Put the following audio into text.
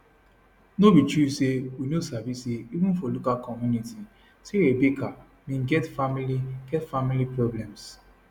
no be true say we no sabi say even for local community say rebecca bin get family get family problems